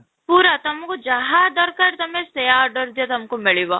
ପୁରା ତମକୁ ଯାହା ଦରକାର ତୋମେ ସେଇୟା order ଦିଅ ତମକୁ ମିଳିବ